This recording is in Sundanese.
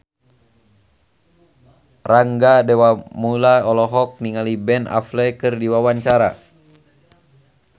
Rangga Dewamoela olohok ningali Ben Affleck keur diwawancara